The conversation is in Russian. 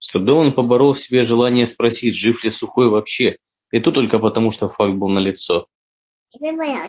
с трудом он поборол в себе желание спросить жив ли сухой вообще да и то только потому что факт был налицо